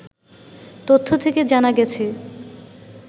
তথ্য থেকে জানা গেছে